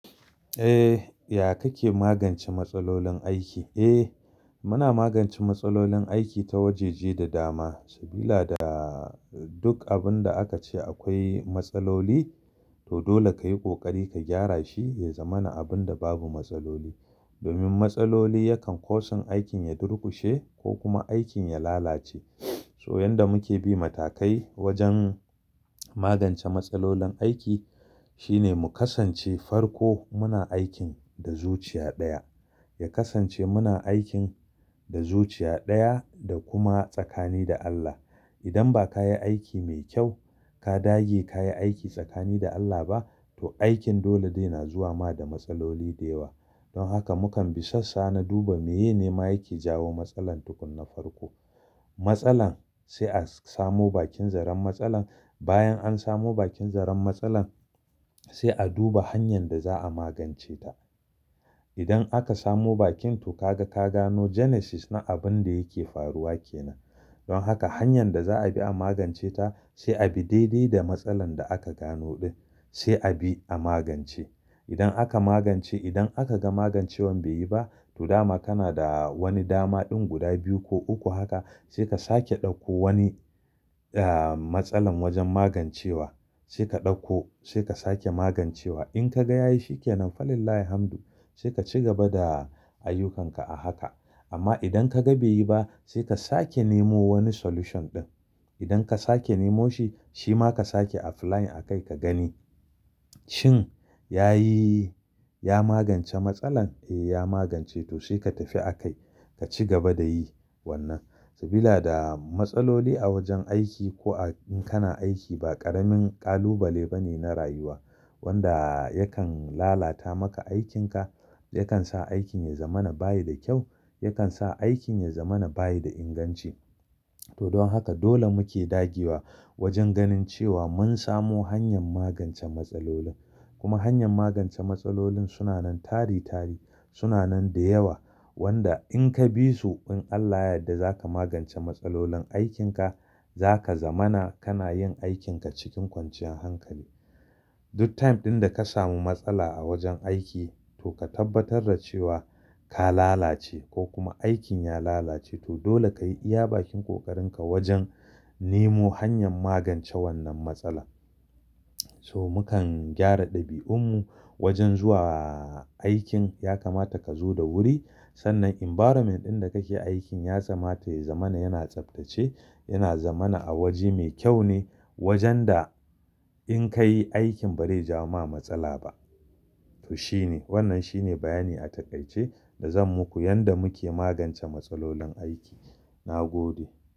Eh, ya kake magance matsalolin aiki? Eh, muna magance matsalolin aiki ta wajeje da dama, sabila da duk abin da aka ce akwai, matsaloli, to dole ka yi ƙoƙari ka gyara shi ya zama na abin da babu matsaloli. Domin matsaloli yakan kusan aikin ya durƙushe, ko kuma aikin ya lalace. So yanda muke bi matakai, wajen magance matsalolin aiki, shine mu kasance farko muna aikin da zuciya ɗaya. Ya kasance muna aikin da zuciya ɗaya da kuma tsakani da Allah. Idan ba ka yi aiki mai kyau, ka dage ka yi aiki tsakani da Allah ba, to aikin dole dai na zuwa ma da matsaloli da yawa. Don haka mukan bi sassa na duba meye ne mayaki jawo matsalar tukuna farko. Matsalan, sai a samu bakin zaren matsalan, Bayan an samu bakin zaren matsalar, sai a duba hanyar da za a magance ta. Idan aka samu bakin, to ka ga, ka gano genesis na abin da yake faruwa kenan. Don haka hanyan da za a bi a magance ta, sai a bi daidai da matsalar da aka gano ɗin, sai a bi a magance. Idan aka magance, idan aka ga magancewan bai yi ba, to dama kana da wani dama ɗin guda biyu ko uku haka, sai ka sake ɗauko wani, ah, matsalar wajen magancewa. Sai ka ɗauko, sai ka sake magancewa. In ka ga ya yi shikenan, falillahi hamdu. Sai ka ci gaba da ayyukanka a haka. Amma idan ka ga bai yi ba, sai ka sake nemo wani solution ɗin. Idan ka sake nemo shi, shi ma ka sake apply a kai ka gani, shin? Ya yi, ya magance matsalan? Eh, ya magance, to sai ka tafi a kai, ka ci gaba da yi wannan. Sabila da, matsaloli a wajen aiki ko in kana aiki ba ƙaramin ƙalubale ba ne na rayuwa. Wanda, yakan lalata maka aikinka, yakan sa aikin ya zama na bayi da kyau, yakan sa aikin ya zama na bayi da inganci. To don haka dole muke dagewa, wajen ganin cewa mun samu hanyar magance matsalolin. Kuma hanyan magance matsalolin suna nan tari tari, suna nan da yawa. Wanda in ka bi su, in Allah ya yadda za ka magance matsalolin aikinka, za ka zama na, kana yin aikinka cikin kwanciyar hankali. Duk time ɗin da ka samu matsala a wajen aiki, to ka tabbatar da cewa ka lalace ko kuma aikin ya lalace, to dole ka yi iya bakin ƙoƙarinka wajen, nemo hanyar magance wannan matsala. So mukan gyara ɗabi'unmu wajen zuwa aikin, ya kamata ka zo da wuri. Sannan environment ɗin da kake aikin ya kamata ya zama na yana tsaftace, yana zama na a waje mai kyau ne wajen da, in ka yi aikin ba zai ja ma matsala ba. To shine, wannan shine bayani a taƙaice, da zan muku yanda muke magance matsalolin aiki. Na gode.